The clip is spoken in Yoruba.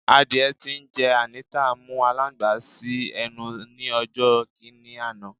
Àdiẹ tí ńjé Anita mú alańgbà si ẹnu ni ọjò̩ kini àná